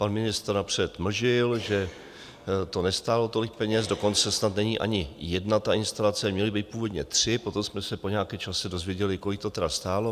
Pan ministr napřed mlžil, že to nestálo tolik peněz, dokonce snad není ani jedna ta instalace, měly být původně tři, potom jsme se po nějakém čase dozvěděli, kolik to tedy stálo.